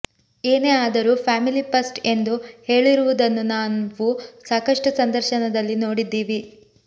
ಏನೇ ಆದರೂ family first ಎಂದು ಹೇಳಿರುವುದನ್ನು ನಾವು ಸಾಕಷ್ಟು ಸಂದರ್ಶನದಲ್ಲಿ ನೋಡಿದ್ದೀವಿ